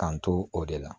K'an to o de la